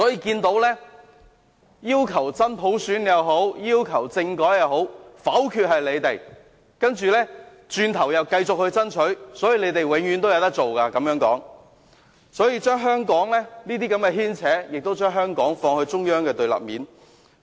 無論是真普選或政改，否決的都是反對派議員，但轉過頭來他們又繼續爭取，這樣他們永遠也有事做，而這些牽扯亦把香港放到中央的對立面。